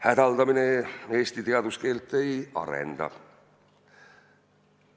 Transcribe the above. Hädaldamine Eesti teaduskeelt ei arenda.